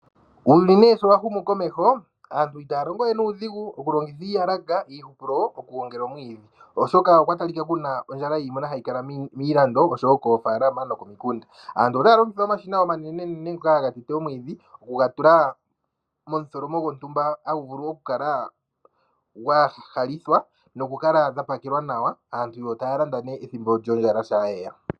Uuyuni n3e showa humu komeho aantu itaya longo we nuudhingu oku longitha iiyalaka, iihupulo oku gongela omwiidhi oshoka okwa talika kuna ondjala yiimuna hayi kala miilando oshowo moofalama nokomikunda. Aantu otaya longitha omashina omanene nene ngoka haga tete omwiidhi. Oku ga tula momutholomo gwontumba moka haga vulu oku kala ga halithwa noku kala dha pakelwa nawa. Aantu taya landa nee shaa ondjala yeya.